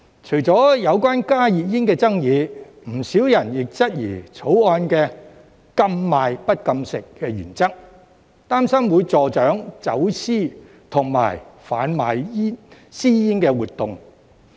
除了有關加熱煙的爭議，不少人亦質疑《條例草案》"禁賣不禁食"的原則，擔心會助長走私和販賣私煙活動。